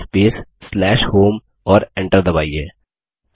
CD space home और Enter दबाइए